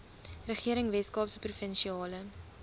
regering weskaapse provinsiale